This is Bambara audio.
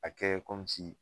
A kɛ